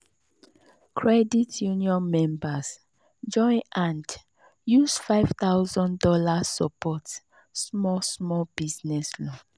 credit union members join hand use five thousand dollars support small small business loan.